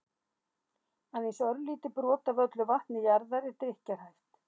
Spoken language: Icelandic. aðeins örlítið brot af öllu vatni jarðar er drykkjarhæft